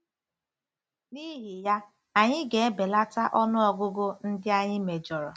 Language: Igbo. N'ihi ya, anyị ga-ebelata ọnụ ọgụgụ ndị anyị mejọrọ.